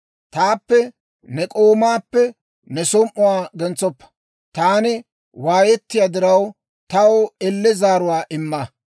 Taappe ne k'oomaappe ne som"uwaa gentsoppa; taani waayettiyaa diraw, taw elle zaaruwaa imma.